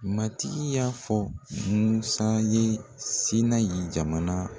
Matigi y'a fɔ Musa ye Sinayi jamana